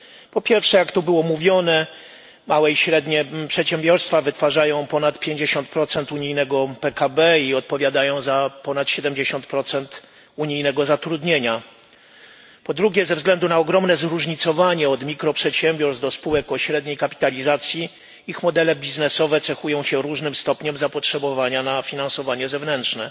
Po pierwsze, jak tu było mówione, małe i średnie przedsiębiorstwa wytwarzają ponad 50 unijnego PKB i odpowiadają za ponad 70 unijnego zatrudnienia. Po drugie, ze względu na ogromne zróżnicowanie, od mikroprzedsiębiorstw do spółek o średniej kapitalizacji, ich modele biznesowe cechują się różnym stopniem zapotrzebowania na finansowanie zewnętrzne.